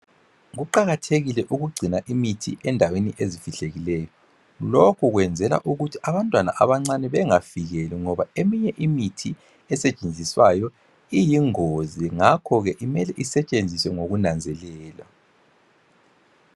Kuqakathekile ukugcina imithi endaweni ezifihlekileyo. Lokhu kwenzela ukuthi abantwana abancane bengafikeli ngoba eminye imithi esetshenziswayo iyingozi ngakho ke imele isetshenziswe ngokunanzelela.